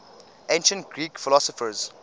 ancient greek philosophers